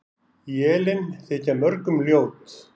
Élin þykja mörgum ljót.